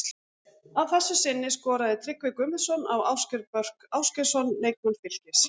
Að þessu sinni skoraði Tryggvi Guðmundsson á Ásgeir Börk Ásgeirsson leikmann Fylkis.